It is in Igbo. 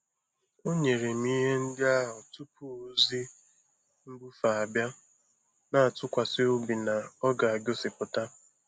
O nyere m ihe ndị ahụ tupu ozi mbufe abịa, na-atụkwasị obi na ọ ga-egosipụta.